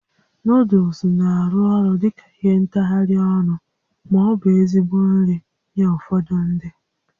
Nuuduls na-arụ ọrụ dị ka ihe ntagharị ọnụ ma ọ bụ ezigbo nri nye ụfọdụ ndị